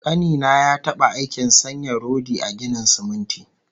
Ƙani na ya taɓa aikin sanya rodi a ginin siminti